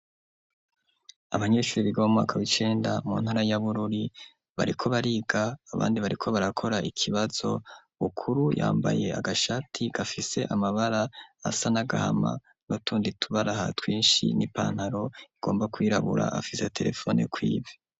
Abanyeshuri biga mumwaka w'icenda mu ntara ya Bururi bariko bariga abandi bariko barakora ikibazo Bukuru yambaye agashati gafise amabara asa n'agahama n'utundi tubaraha twinshi n'ipantaro igomba kwirabura afise terefone kw' ivi.